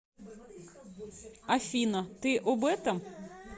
афина ты об этом